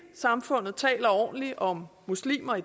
samfund taler ordentligt om muslimer